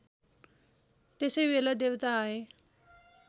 त्यसैबेला देवता आए